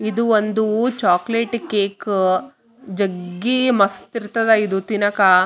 ಇದು ಒಂದು chocolate cake ಜಗ್ಗಿ ಮಸ್ತ್ ಇರ್ತಾದ ಇದು ತಿನ್ನಾಕ.